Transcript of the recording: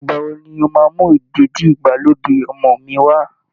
Ìgbà wo ni o máa mú ìdèdí-ìgbàlódé ọmọ mi wá?